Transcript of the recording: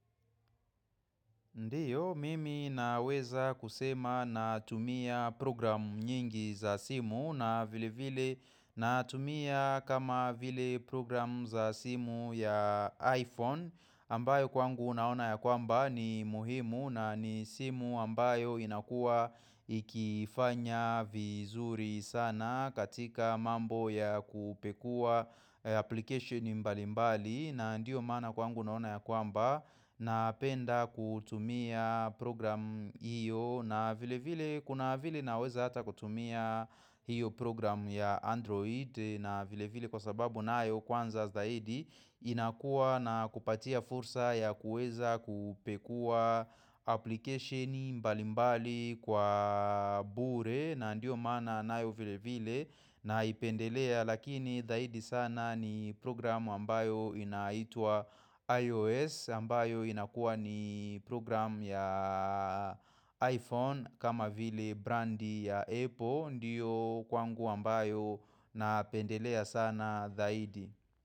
Ndiyo, mimi naweza kusema na tumia program nyingi za simu na vile vile natumia kama vile program za simu ya iPhone ambayo kwangu naona ya kwamba ni muhimu na nisimu ambayo inakua ikifanya vizuri sana katika mambo ya kupekuwa application mbali mbali na ndiyo maana kwangu naona ya kwamba na penda kutumia program hiyo na vile vile kuna vile naweza hata kutumia hiyo program ya Android na vile vile kwa sababu naayo kwanza zaidi inakua na kupatia fursa ya kueza kupekuwa application mbali mbali kwa bure na ndiyo mana naayo vile vile na ipendelea Lakini dhaidi sana ni programu ambayo inaitwa iOS ambayo inakuwa ni programu ya iPhone kama vile brandi ya Apple ndiyo kwangu ambayo napendelea sana dhaidi.